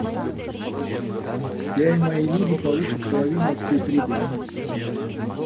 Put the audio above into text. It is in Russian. я и мои люди получат половину от всей прибыли